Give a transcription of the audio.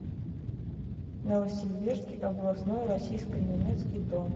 новосибирский областной российско немецкий дом